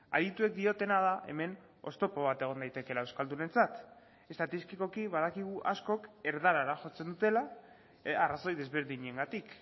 adituek diotena da hemen oztopo bat egon daitekeela euskaldunentzat estatistikoki badakigu askok erdarara jotzen dutela arrazoi desberdinengatik